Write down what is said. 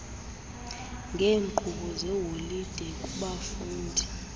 ngeenkqubo zeholide kubafundi